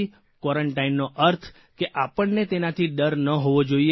ક્વોરન્ટાઇનનો અર્થ કે આપણને તેનાથી ડર ન હોવો જોઇએ